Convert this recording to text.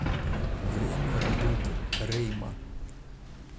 время работы рейма